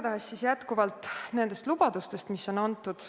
Niisiis, nendest lubadustest, mis on antud.